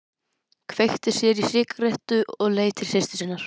Kveikti sér í sígarettu og leit til systur sinnar.